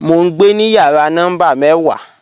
Mọ̀ n gbẹ ni yàrà nọ́mbà mẹ́wà